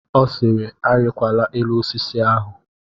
Ọ sịịrị, arịkwala elu osisi ahụ!